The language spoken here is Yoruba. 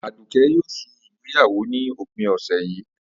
Àdùké̩ yóò s̩e ìgbéyàwó ní òpin ò̩sè̩ yìí